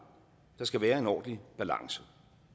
der skal være en ordentlig balance